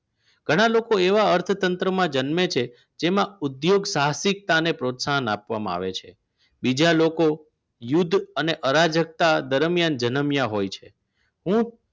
ઘણા લોકો એવા અર્થતંત્રમાં જન્મે છે જેમાં ઉદ્યોગ સાહસિકતાને પ્રોત્સાહન આપવામાં આવે છે બીજા લોકો યુદ્ધ અને અરાજક દરમ્યાન જન્મ્યા હોય છે હું